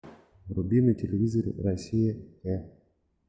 вруби на телевизоре россия э